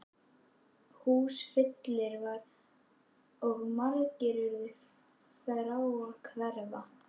Húsfyllir var og margir urðu frá að hverfa.